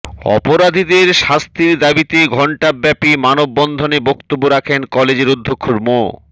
অপরাধীদের শাস্তির দাবিতে ঘণ্টাব্যাপী মানববন্ধনে বক্তব্য রাখেন কলেজের অধ্যক্ষ মো